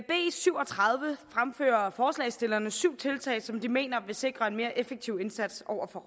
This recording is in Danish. syv og tredive fremfører forslagsstillerne syv tiltag som de mener vil sikre en mere effektiv indsats over for